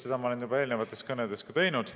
Seda ma olen juba eelnevates kõnedes teinud.